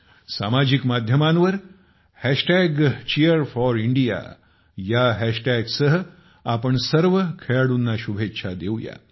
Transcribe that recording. सामाजिक माध्यमांवर cheer4India ह्या हॅशटॅग सह आपण सर्व खेळाडूंना शुभेच्छा देऊ शकता